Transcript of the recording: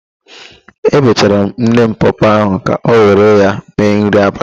Ebechara m nne m pọọpọọ ahụ ka ọ were ya mee nri abalị.